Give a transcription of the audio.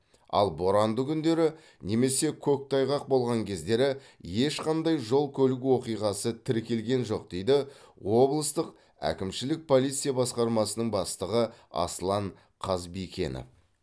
ал боранды күндері немесе көктайғақ болған кездері ешқандай жол көлік оқиғасы тіркелген жоқ дейді облыстық әкімшілік полиция басқармасының бастығы аслан қызбикенов